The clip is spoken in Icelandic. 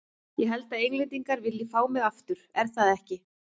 Ég held að Englendingar vilji fá mig aftur, er það ekki?